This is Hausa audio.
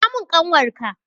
Kira mun ƙanwar ka!